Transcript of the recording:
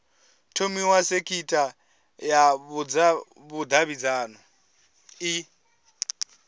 thomiwa sekitha ya vhudavhidzano i